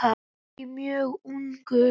Ekki mjög ungur.